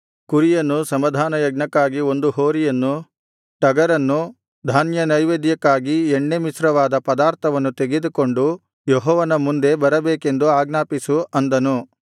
ಕುರಿಯನ್ನು ಸಮಾಧಾನಯಜ್ಞಕ್ಕಾಗಿ ಒಂದು ಹೋರಿಯನ್ನು ಟಗರನ್ನು ಧಾನ್ಯನೈವೇದ್ಯಕ್ಕಾಗಿ ಎಣ್ಣೆಮಿಶ್ರವಾದ ಪದಾರ್ಥವನ್ನು ತೆಗೆದುಕೊಂಡು ಯೆಹೋವನ ಮುಂದೆ ಬರಬೇಕೆಂದು ಆಜ್ಞಾಪಿಸು ಅಂದನು